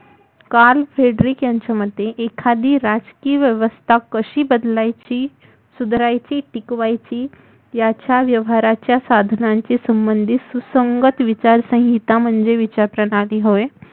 Carl Fabric यांच्या मते एखादी राजकीय व्यवस्था कशी बदलायची सुधरवायची टिकवायची याच्या व्यवहारांच्या साधनाची संबंधीत सुसंगत विचार संहिता म्हणजे विचार प्रणाली होय